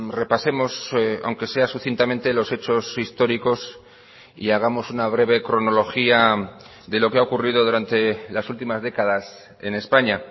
repasemos aunque sea sucintamente los hechos históricos y hagamos una breve cronología de lo que ha ocurrido durante las últimas décadas en españa